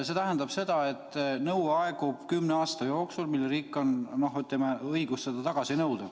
“ See tähendab seda, et nõue aegub kümne aasta jooksul.